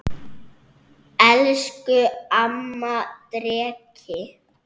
Elsku amma Dreki.